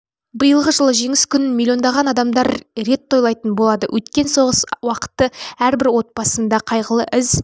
биылғы жылы жеңіс күнін миллиондаған адамдар рет тойлайтын болады өткен соғыс уақыты әрбір отбасында қайғылы із